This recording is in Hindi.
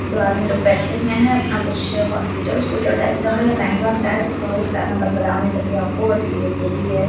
एक दो आदमी लोग बैठे हुए है अपना कुछ हॉस्पिटल उस्पीटल टाइप लग रहा है या बैंक उंक टाइप तो उसका मैं बता नही सकती आपको बट ये जो भी है।